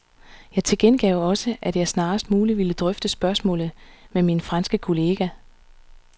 Jeg tilkendegav også, at jeg snarest muligt ville drøfte spørgsmålet med min franske kollega.